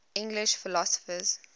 english philosophers